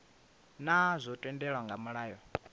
naa zwo tendelwa nga mulayo